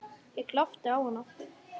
Ég glápti á hana.